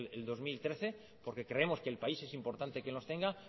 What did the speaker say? en el dos mil trece porque creemos que el país es importante que los tenga